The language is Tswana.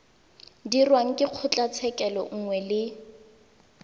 dirwang ke kgotlatshekelo nngwe le